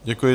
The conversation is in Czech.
Děkuji.